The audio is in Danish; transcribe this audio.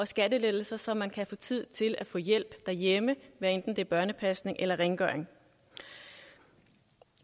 skattelettelser så man kan få tid til at få hjælp derhjemme hvad enten det børnepasning eller rengøring